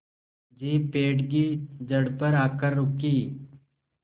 jeep पेड़ की जड़ पर आकर रुकी